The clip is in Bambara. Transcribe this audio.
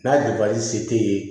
N'a se tɛ ye